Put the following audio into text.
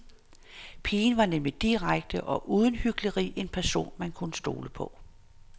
Pigen var nemlig direkte og uden hykleri en person, man kunne stole på.